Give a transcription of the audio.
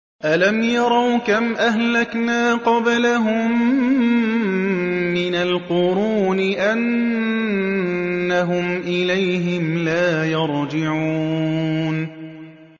أَلَمْ يَرَوْا كَمْ أَهْلَكْنَا قَبْلَهُم مِّنَ الْقُرُونِ أَنَّهُمْ إِلَيْهِمْ لَا يَرْجِعُونَ